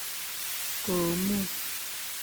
komuuny.